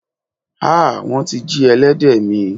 Ha! Wón ti jí elédè mi.